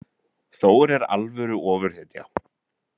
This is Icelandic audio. Þór er alvöru ofurhetja